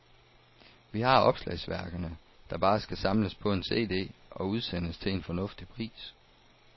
Vi har opslagsværkerne, der bare skal samles på en cd og udsendes til en fornuftig pris.